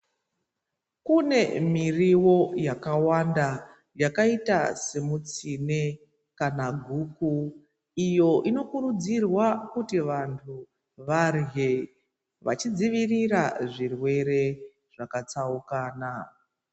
Kune miriwo yakawanda yakaita semitsine kana guru iyo inokurudzirwa kuti vantu varye vachidzivirira zvirwere zvakatsaukana.